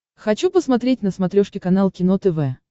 хочу посмотреть на смотрешке канал кино тв